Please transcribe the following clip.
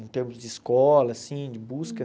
Em termos de escola, assim, de busca.